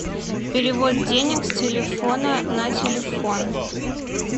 перевод денег с телефона на телефон